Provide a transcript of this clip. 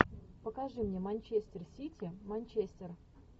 покажи мне манчестер сити манчестер